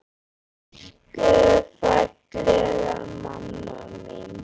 Elsku fallega mamma mín!